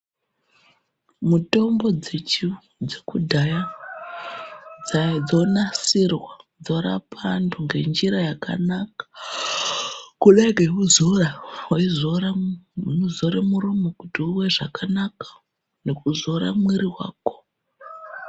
Mutombo dzekudhaya dzonasirwa dzorapa antu ngenjira yakanaka kudai ngekuzora weizora muromo kuti uwe zvakanaka nekuzora mwiri wako.